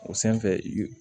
O sanfɛ i